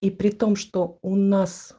и при том что у нас